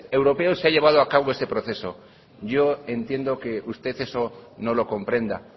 europeos se ha llevado a cabo este proceso yo entiendo que usted eso no lo comprenda